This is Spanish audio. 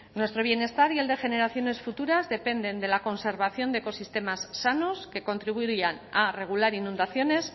nuestro bienestar y el de generaciones futuras dependen de la conservación de ecosistemas sanos que contribuyan a regular inundaciones